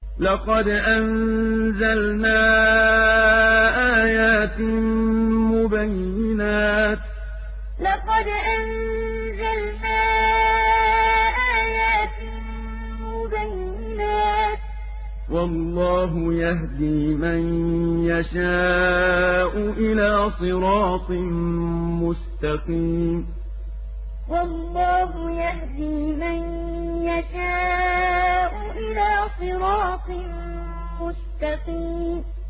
لَّقَدْ أَنزَلْنَا آيَاتٍ مُّبَيِّنَاتٍ ۚ وَاللَّهُ يَهْدِي مَن يَشَاءُ إِلَىٰ صِرَاطٍ مُّسْتَقِيمٍ لَّقَدْ أَنزَلْنَا آيَاتٍ مُّبَيِّنَاتٍ ۚ وَاللَّهُ يَهْدِي مَن يَشَاءُ إِلَىٰ صِرَاطٍ مُّسْتَقِيمٍ